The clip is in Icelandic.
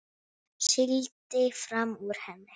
Sigldi fram úr henni.